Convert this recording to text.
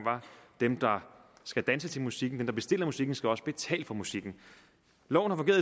dem der skal danse til musikken og som bestiller musikken skal også betale for musikken loven har